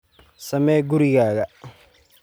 Samee gurigaaga.